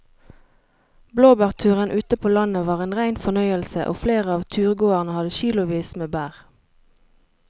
Blåbærturen ute på landet var en rein fornøyelse og flere av turgåerene hadde kilosvis med bær.